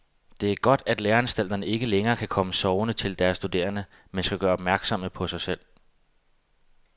Det er godt, at læreanstalterne ikke længere kan komme sovende til deres studerende, men skal gøre opmærksom på sig selv.